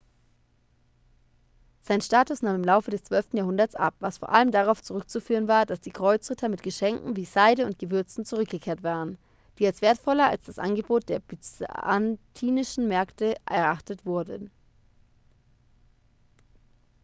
sein status nahm im laufe des zwölften jahrhunderts ab was vor allem darauf zurückzuführen war dass die kreuzritter mit geschenken wie seide und gewürzen zurückgekehrt waren die als wertvoller als das angebot der byzantinischen märkte erachtet wurden